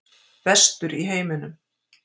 Bestur í heiminum.